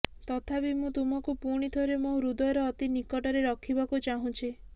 ତଥାପି ମୁଁ ତୁମକୁ ପୁଣିଥରେ ମୋ ହୃଦୟର ଅତି ନିକଟରେ ରଖିବାକୁ ଚାହୁଁଛି